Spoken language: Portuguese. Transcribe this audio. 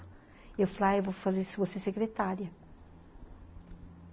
E eu falei, ah, eu vou fazer, vou ser secretária.